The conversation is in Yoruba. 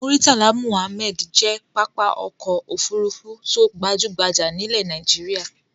Murtala Muhammad jẹ́ pápá ọkọ̀-òfurufú tó gbajú-gbajà nílẹ̀ Nàìjíríà.